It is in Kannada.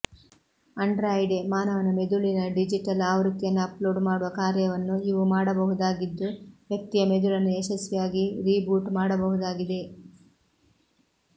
ಆಂಡ್ರಾಯ್ಡ್ಗೆ ಮಾನವನ ಮೆದುಳಿನ ಡಿಜಿಟಲ್ ಆವೃತ್ತಿಯನ್ನು ಅಪ್ಲೋಡ್ ಮಾಡುವ ಕಾರ್ಯವನ್ನು ಇವು ಮಾಡಬಹುದಾಗಿದ್ದು ವ್ಯಕ್ತಿಯ ಮೆದುಳನ್ನು ಯಶಸ್ವಿಯಾಗಿ ರೀಬೂಟ್ ಮಾಡಬಹುದಾಗಿದೆ